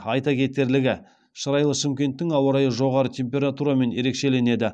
айта кетерлігі шырайлы шымкенттің ауа райы жоғары температурамен ерекшеленеді